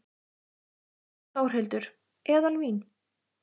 Þórhildur: Eðalvín?